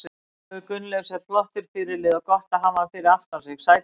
Gunnleifur Gunnleifs er flottur fyrirliði og gott að hafa hann fyrir aftan sig Sætasti sigurinn?